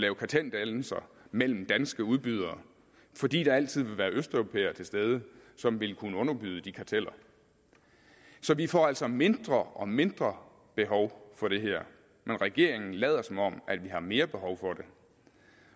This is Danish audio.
lave karteldannelser mellem danske udbydere fordi der altid vil være østeuropæere til stede som vil kunne underbyde de karteller så vi får altså mindre og mindre behov for det her men regeringen lader som om vi har mere behov for det